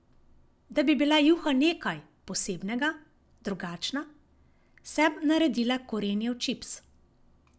Da bi bila juha nekaj posebnega, drugačna, sem naredila korenjev čips.